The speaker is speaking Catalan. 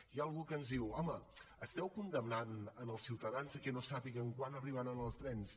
hi ha algú que ens diu home esteu condemnant els ciutadans que no sàpiguen quan arribaran els trens